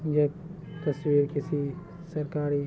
यह तस्वीर किसी सरकारी--